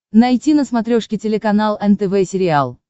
найти на смотрешке телеканал нтв сериал